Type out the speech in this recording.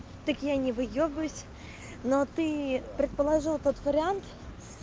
так я не выебываюсь но ты предположил тот вариант